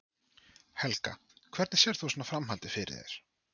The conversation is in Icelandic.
Helga: Hvernig sérð þú svona framhaldið fyrir þér?